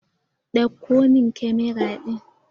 Dauko min camara din!